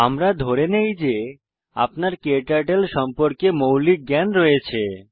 আমরা ধরে নেই যে আপনার ক্টার্টল সম্পর্কে মৌলিক জ্ঞান রয়েছে